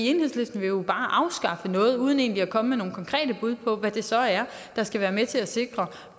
enhedslisten vil jo bare afskaffe noget uden egentlig at komme med nogen konkrete bud på hvad det så er der skal være med til at sikre